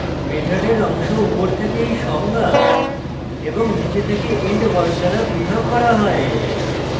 মেথডের অংশ উপর থেকে body সংজ্ঞা এবং নীচে থেকে end word দ্বারা পৃথক করা হয়